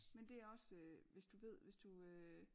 Men det er også øh hvis du ved hvis du øh